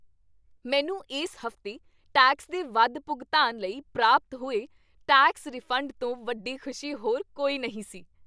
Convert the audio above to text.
ਮੈਨੂੰ ਇਸ ਹਫ਼ਤੇ ਟੈਕਸ ਦੇ ਵੱਧ ਭੁਗਤਾਨ ਲਈ ਪ੍ਰਾਪਤ ਹੋਏ ਟੈਕਸ ਰਿਫੰਡ ਤੋਂ ਵੱਡੀ ਖੁਸ਼ੀ ਹੋਰ ਕੋਈ ਨਹੀਂ ਸੀ।